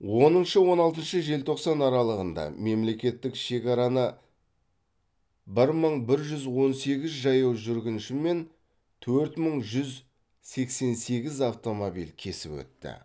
оныншы он алтыншы желтоқсан аралығында мемлекеттік шекараны бір мың бір жүз он сегіз жаяу жүргінші мен төрт мың жүз сексен сегіз автомобиль кесіп өтті